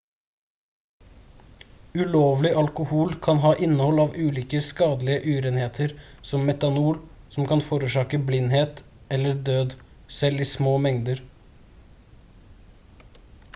ulovlig alkohol kan ha innhold av ulike skadelige urenheter som metanol som kan forårsake blindhet eller død selv i små mengder